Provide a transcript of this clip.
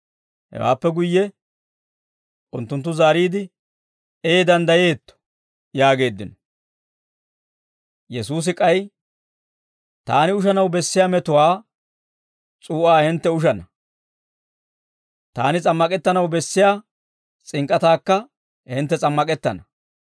Hewaappe guyye unttunttu zaariide, «Ee danddayeetto» yaageeddino. Yesuusi k'ay, «Taani ushanaw bessiyaa metuwaa s'uu'aa hintte ushana; taani s'ammak'ettanaw bessiyaa s'ink'k'ataakka hintte s'ammak'ettana.